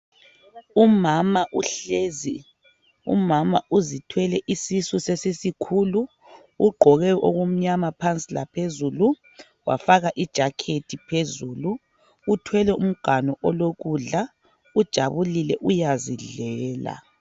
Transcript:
Umama uhlezi, umama uzithwele isisu sesisikhulu uqhoke okumnyama phansi laphezulu wafaka i jakhethi phezulu uthwele umganu olokudla ujabulile uyazidlela.